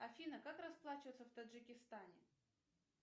афина как расплачиваться в таджикистане